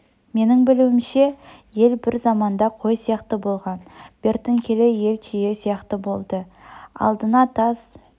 менің білуімше ел бір заманда қой сияқты болған бертін келе ел түйе сияқты болды алдына тас